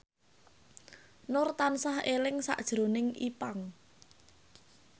Nur tansah eling sakjroning Ipank